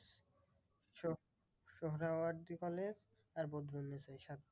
college আর বদরুন্নেসা এই সাতটা।